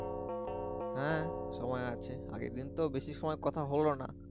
হ্যা সময় আছে আগের দিন তো বেশি সময় কথা হলো না।